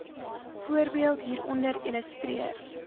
voorbeeld hieronder illustreer